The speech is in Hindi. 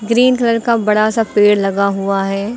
ग्रीन कलर का बड़ा सा पेड़ लगा हुआ है।